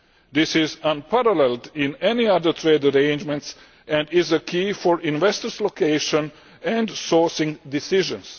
This is unparalleled in any other trade arrangements and is a key for investors' location and sourcing decisions.